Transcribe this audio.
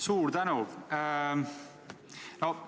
Suur tänu!